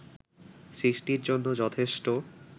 সৃষ্টির জন্য যথেষ্ট